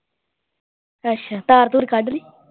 ਅੱਛਾ ਧਾਰ ਧੁਰ ਕੱਢ ਲਈ